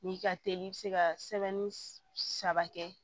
N'i ka teli i bɛ se ka sɛbɛnni saba kɛ